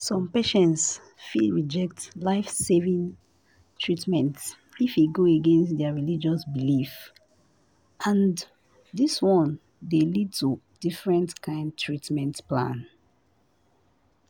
some patients fit reject life saving treatment if e go against their religious belief and this one dey lead to different kind treatment plan